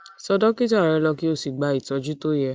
tọ dókítà rẹ kó o sì gba ìtọjú tó yẹ